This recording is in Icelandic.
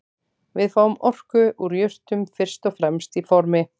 Við fáum orku úr jurtum fyrst og fremst í formi